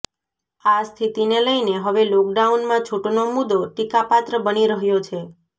આ સ્થિતિને લઇને હવે લોકડાઉનમાં છૂટનો મુદ્દો ટીકાપાત્ર બની રહ્યો છે